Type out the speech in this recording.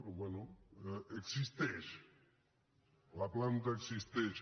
però bé existeix la planta existeix